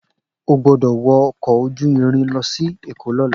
O gbọ́dọ̀ wọ ọkọ̀ ojú irin lọ sí èkó lọ́la